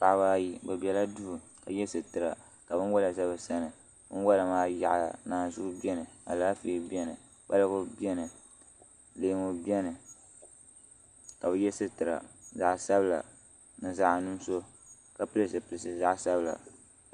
Paɣaba ayi bi ʒɛla duu ka yɛ sitira ka binwola bɛ bi sani binwola maa yaɣaya naanzuu biɛni Alaafee biɛni kpalgu biɛni leemu biɛni ka bi yɛ sitira zaɣ sabila ni zaɣ nuɣso ka pili zipiliti zaɣ sabila